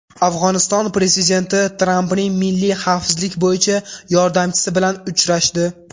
Afg‘oniston prezidenti Trampning milliy xavfsizlik bo‘yicha yordamchisi bilan uchrashdi.